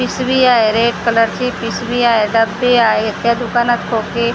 पिशवी आहे रेड कलरची पिशवी आहे डब्बे आहेत त्या दुकानात खोके उम्म --